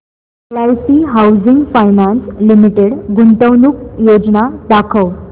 LIC housing finance limited गुंतवणूक योजना दाखव